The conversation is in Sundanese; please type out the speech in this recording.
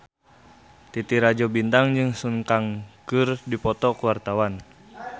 Titi Rajo Bintang jeung Sun Kang keur dipoto ku wartawan